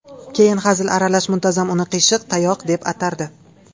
Keyin hazil aralash muntazam uni qiyshiq tayoq deb atardi.